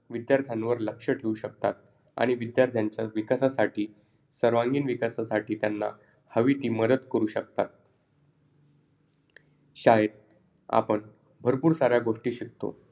विद्यार्थ्यांवर लक्ष ठेऊ शकतात. आणि विद्यार्थ्यांच्या विकासासाठी, सर्वांगीण विकासासाठी त्यांना हवी ती मदत करू शकतात. शाळेत आपण भरपूर साऱ्या गोष्टी शिकतो.